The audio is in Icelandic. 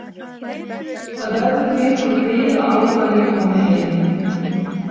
Það verður því einhver bið á að ég komi heim.